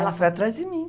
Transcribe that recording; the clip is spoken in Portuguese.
Ela foi atrás de mim.